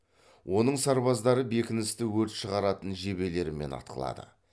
оның сарбаздары бекіністі өрт шығаратын жебелерімен атқылады